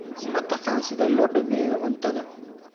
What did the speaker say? Ma taqaan sida loo dhammeeyo cuntada?